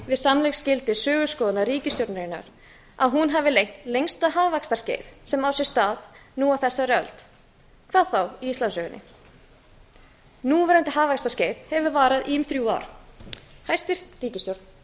við sannleiksskyldu söguskoðunar ríkisstjórnarinnar að hún hafi leitt lengsta hagvaxtarskeið sem á sér stað nú á þessari öld hvað þá í íslandssögunni núverandi hagvaxtarskeið hefur varað í um þrjú ár hæstvirt ríkisstjórn